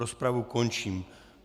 Rozpravu končím.